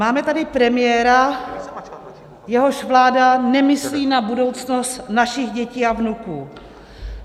Máme tady premiéra, jehož vláda nemyslí na budoucnost našich dětí a vnuků.